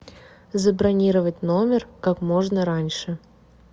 забронировать номер как можно раньше